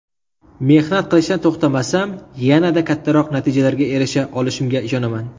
Mehnat qilishdan to‘xtamasam, yanada kattaroq natijalarga erisha olishimga ishonaman.